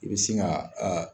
I bɛ sin ka aa.